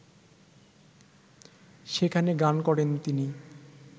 সেখানে গান করেন তিনি